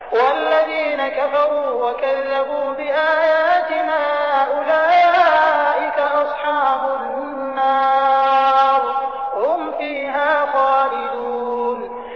وَالَّذِينَ كَفَرُوا وَكَذَّبُوا بِآيَاتِنَا أُولَٰئِكَ أَصْحَابُ النَّارِ ۖ هُمْ فِيهَا خَالِدُونَ